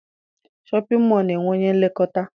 Shọpịn mọọ na-enwe onye nlekọta